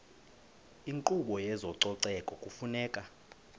inkqubo yezococeko kufuneka